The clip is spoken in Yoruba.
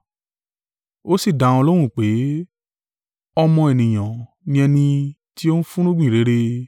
Ó sì dá wọn lóhùn pé, “Ọmọ Ènìyàn ni ẹni tí ó ń fúnrúgbìn rere.